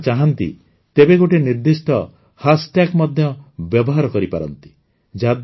ଯଦି ଆପଣ ଚାହାଁନ୍ତି ତେବେ ଗୋଟିଏ ନିର୍ଦ୍ଦିଷ୍ଟ ହ୍ୟାସ୍ଟ୍ୟାଗ୍ ମଧ୍ୟ ବ୍ୟବହାର କରିପାରନ୍ତି